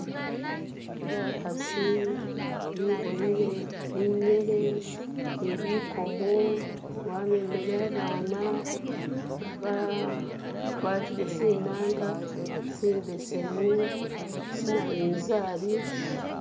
Bakhasi biboyele binyele ni bikomo bamemele abana bagwatile tsinanga tsimbesemu, tsenabintsari